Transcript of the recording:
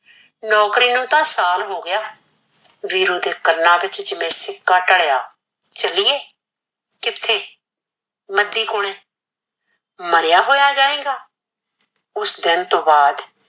ਨੋਕਰੀ ਨੂੰ ਤਾਂ ਸਾਲ ਹੋ ਗਿਆ, ਵੀਰੂ ਦੇ ਕੰਨਾ ਵਿੱਚ ਜਿਵੇਂ ਸਿੱਕਾ ਢੱਲਿਆ, ਚੱਲੀਏ ਕਿੱਥੇ ਮੱਦੀ ਕੋਲੇ ਮਰਿਆ ਹੋਇਆ ਜਾਏਗਾ, ਉਸ ਦਿਨ ਤੋਂ ਬਾਦ